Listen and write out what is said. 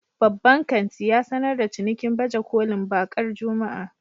Babban kanti ya sanar da cinikin baje kolin bakar Juma'a